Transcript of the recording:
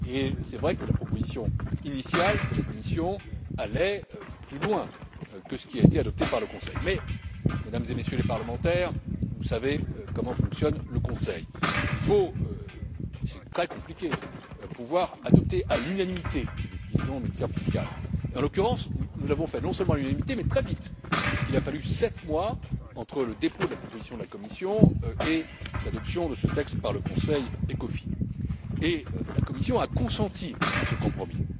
Il est vrai que la proposition initiale de la Commission allait plus loin que ce qui a été adopté par le Conseil, mais Mesdames et Messieurs les parlementaires, vous savez comment fonctionne le Conseil. La procédure est très compliquée, il faut pouvoir adopter à l'unanimité les décisions en matière fiscale et, en l'occurrence, nous l'avons fait non seulement à l'unanimité mais très vite, puisqu'il a fallu sept mois entre le dépôt de la proposition de la Commission et l'adoption de ce texte par le Conseil ECOFIN, et la Commission a consenti à ce compromis.